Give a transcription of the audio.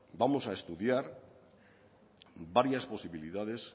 vamos a estudiar varias posibilidades